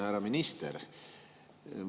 Härra minister!